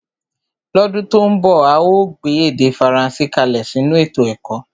lọ́dún tó ń bọ̀ a óò gbé èdè Faransé kalẹ̀ sínú ètò ẹ̀kọ́